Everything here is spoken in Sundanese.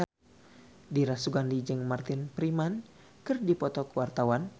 Dira Sugandi jeung Martin Freeman keur dipoto ku wartawan